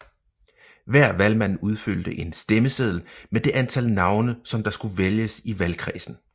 Hver valgmand udfyldte en stemmeseddel med det antal navne som der skulle vælges i valgkredsen